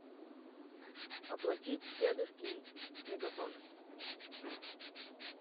оплатить дедушкин мегафон